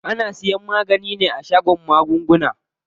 Ana siyan magani ne a shagon maguna.